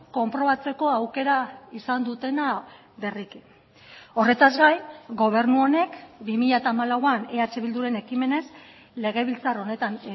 konprobatzeko aukera izan dutena berriki horretaz gain gobernu honek bi mila hamalauan eh bilduren ekimenez legebiltzar honetan